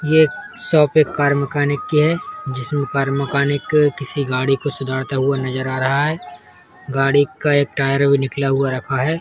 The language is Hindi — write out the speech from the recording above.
ये शॉप कार मैकेनिक की है जिसमे कार मैकेनिक किसी गाड़ी को सुधारता हुआ नज़र आ रहा है। गाड़ी का एक टायर भी निकला हुआ रखा है।